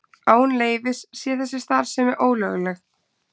Án leyfis sé þessi starfsemi ólögleg